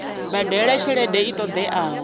badela tshelede i ṱo ḓeaho